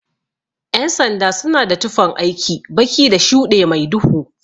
Ƴan sanda suna da tufan aiki, baki da shuɗe mai duhu.